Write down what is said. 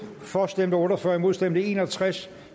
for stemte otte og fyrre imod stemte en og tres